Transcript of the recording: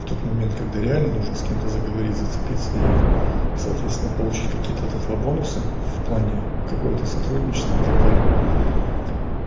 в тот момент когда реально нужно с кем-то заговорить зацепиться и соответственно получить какие-то от этого бонусы в плане какого-то сотрудничества и так далее